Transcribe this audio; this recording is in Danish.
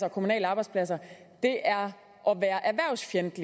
og kommunale arbejdspladser er